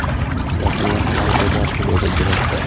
Ishlashimga xalal beryapti”, dedi direktor.